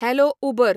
hello Uber